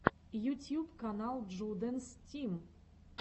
ютьюб канал джудэнс тим